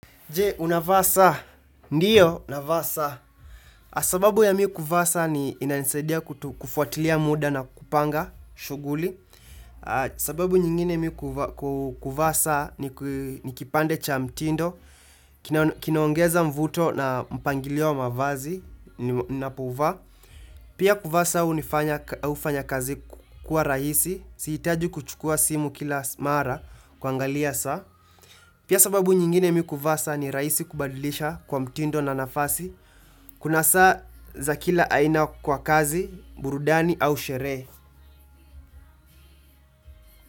Jee, unavaa saa. Ndiyo, navaa saa. Sababu ya mimi kuvaa saa ni inanisadia kufuatilia muda na kupanga shughuli. Sababu nyingine miu kuvasa ni kipande cha mtindo. Kinaongeza mvuto na mpangilio wa mavazi ninapovaa. Pia kuvaa saa hunifanya kazi kukua rahisi. Sihitaji kuchukua simu kila mara kuangalia saa. Pia sababu nyingine mimi kuvaa saa ni rahisi kubadilisha kwa mtindo na nafasi, kuna saa za kila aina kwa kazi, burudani au sherehe.